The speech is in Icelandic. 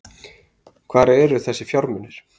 Hvar eru þessir fjármunir